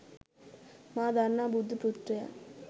මා දන්නා බුද්ධ පුත්‍රයන්